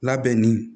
Labɛn ni